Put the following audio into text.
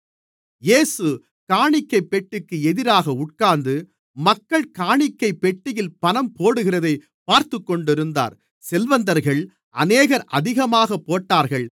இயேசு காணிக்கைப்பெட்டிக்கு எதிராக உட்கார்ந்து மக்கள் காணிக்கைப் பெட்டியில் பணம் போடுகிறதைப் பார்த்துக்கொண்டிருந்தார் செல்வந்தர்கள் அநேகர் அதிகமாகப் போட்டார்கள்